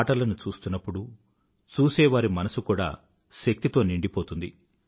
ఆటలను చూస్తున్నపుడు చూసేవారి మనసు కూడా శక్తితో నిండిపోతుంది